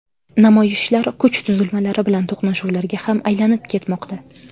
Namoyishlar kuch tuzilmalari bilan to‘qnashuvlarga ham aylanib ketmoqda.